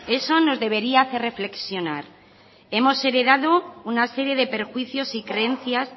eso nos debería hacer reflexionar hemos heredado una serie de perjuicios y creencias